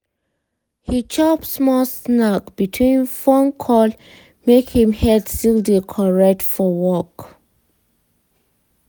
he chop small snack between phone call make him head still dey correct for work.